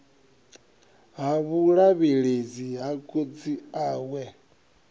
ha vhulavhelesi ha khotsi awe